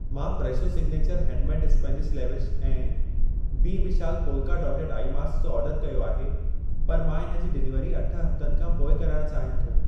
मां Fresho signature handmade spinach leaves ऐं बी विशाल पोल्का डॉटेड आई मास्क जो ऑर्डर कयो आहे, पर मां इन जी डिलीवरी अठ हफ़्तनि खां पोइ कराइण चाहियां थो।